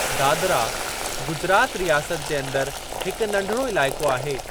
दादरा गुजरात रियासत जे अंदरि हिक नढिड़ो इलाइक़ो आहे।